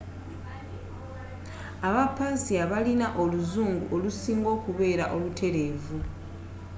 abapersia balina oluzungu olusinga okubeera olutereevu